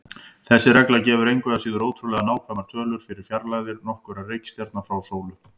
Þessi regla gefur engu að síður ótrúlega nákvæmar tölur fyrir fjarlægðir nokkurra reikistjarna frá sólu.